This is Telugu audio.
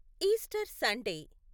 Easter Sunday